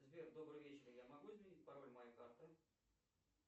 сбер добрый вечер я могу изменить пароль моей карты